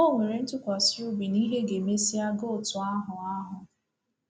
O nwere ntụkwasị obi na ihe ga-emesịa gaa otú ahụ ahụ.